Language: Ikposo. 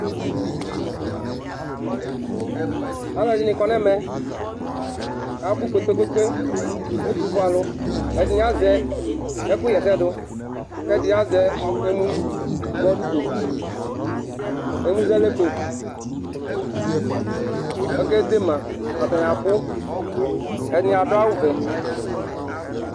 alʋɛdini kɔnʋ ɛmɛ, abʋ kpekpekpe ɛtʋƒʋɛ alʋ ɛdini azɛ ɛkʋ yɛsɛ dʋ kʋ ɛdini azɛ ɛmʋ zɛdʋkɔ ɛmʋ zɛdʋkɔ kʋ akɛ dɛ ma?, atɛni abʋ ɛdini adʋ awʋ vɛ